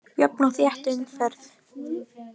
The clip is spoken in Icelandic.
Jöfn og þétt umferð